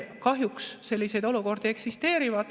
Kahjuks selliseid olukordi eksisteerib.